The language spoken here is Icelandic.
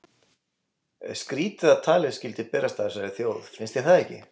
Skrýtið að talið skyldi berast að þessari þjóð, finnst þér það ekki?